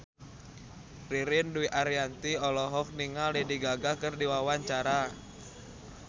Ririn Dwi Ariyanti olohok ningali Lady Gaga keur diwawancara